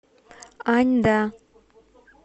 аньда